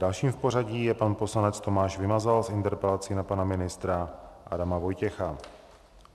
Dalším v pořadí je pan poslanec Tomáš Vymazal s interpelací na pana ministra Adama Vojtěcha.